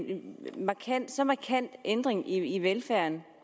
så markant ændring i velfærden